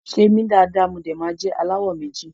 Ṣe mi dada mo de ma jẹ alawọ méjì.